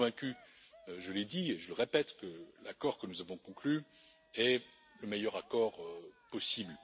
Je suis convaincu, je l'ai dit et je le répète, que l'accord que nous avons conclu est le meilleur accord possible.